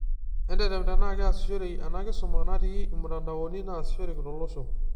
Entetem tenaa keaishoreyu ena kisuma naati imtanadaoni naasishoreki tolosho.